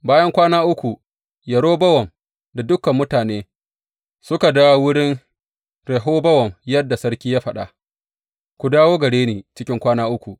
Bayan kwana uku, Yerobowam da dukan mutane suka dawo wurin Rehobowam yadda sarki ya faɗa, Ku dawo gare ni cikin kwana uku.